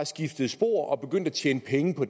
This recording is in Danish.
skiftede spor og begyndte at tjene penge på